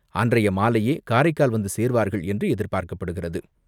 அன்றைய மாலையே காரைக்கால் வந்துசேர்வார்கள் என்று எதிர்பார்க்கப்படுகிறது.